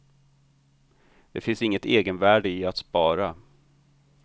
Det finns inget egenvärde i att spara.